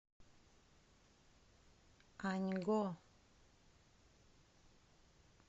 аньго